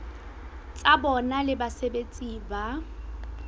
tsa bona le basebeletsi ba